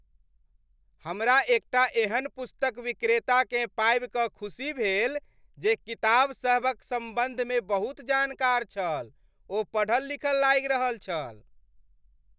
हमरा एकटा एहन पुस्तक विक्रेताकेँ पाबि कऽ खुशी भेल जे किताबसभक सम्बन्धमे बहुत जानकार छल। ओ पढ़ल लिखल लागि रहल छल।